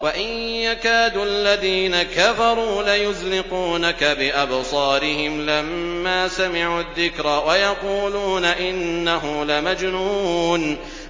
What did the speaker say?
وَإِن يَكَادُ الَّذِينَ كَفَرُوا لَيُزْلِقُونَكَ بِأَبْصَارِهِمْ لَمَّا سَمِعُوا الذِّكْرَ وَيَقُولُونَ إِنَّهُ لَمَجْنُونٌ